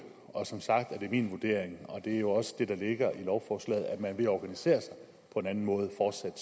og som sagt er det min vurdering og det er jo også det der ligger i lovforslaget at man ved at organisere sig på en anden måde fortsat